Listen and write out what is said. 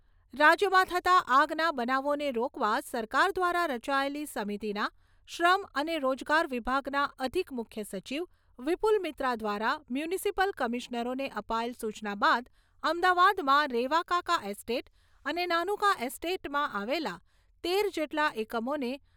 રાજ્યમાં થતા આગના બનાવોને રોકવા સરકાર દ્વારા રચાયેલી સમિતીના શ્રમ અને રોજગાર વિભાગનાં અધિક મુખ્ય સચિવ, વિપુલ મિત્રા દ્વારા મ્યુનિસીપલ કમીશનરોને અપાયેલ સૂચના બાદ અમદાવાદમાં રેવાકાકા એસ્ટેટ અને નાનુકા એસ્ટેટમાં આવેલા તેર જેટલા એકમોને,